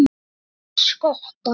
Sveini skotta.